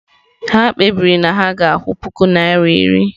Ha kpebiri na ha ga-akwụ puku naira iri.